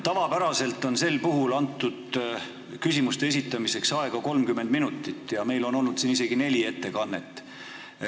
Tavapäraselt on sel puhul antud küsimuste esitamiseks aega 30 minutit, kuigi on olnud isegi neli ettekannet.